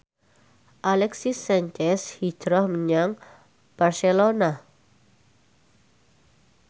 Alexis Sanchez hijrah menyang Barcelona